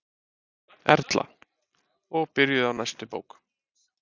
Erla: Og byrjuð á næstu bók?